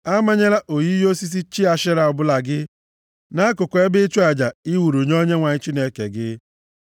Amanyela oyiyi osisi chi Ashera ọbụla gị nʼakụkụ ebe ịchụ aja ị wuru nye Onyenwe anyị Chineke gị.